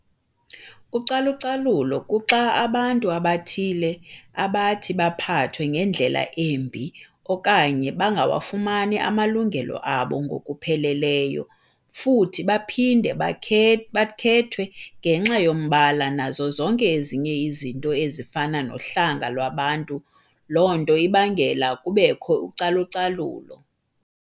Ucalucalulo kuxa abantu abathile abathi baphathwe ngendlela embi okanye bangawafumani amalungelo abo ngokupheleleyo futhi baphinde bakhethwe ngenxa yombala nazo zonke ezinye izinto ezifana nohlanga lwabantu lonto ibangela kubekho ucalucalulo.